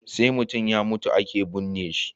Sai mutun ya mutu ake bunne shi